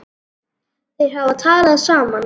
Þeir hafa talað saman.